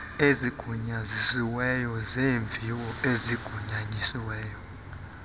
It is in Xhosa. ezigunyazisiweyo zeemviwo ezigunyazisiweyo